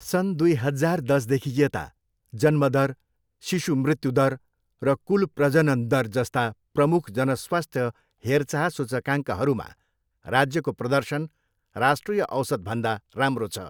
सन् दुई हजार दसदेखि यता, जन्मदर, शिशु मृत्यु दर, र कुल प्रजनन दर जस्ता प्रमुख जनस्वास्थ्य हेरचाह सूचकाङ्कहरूमा राज्यको प्रदर्शन राष्ट्रिय औसतभन्दा राम्रो छ।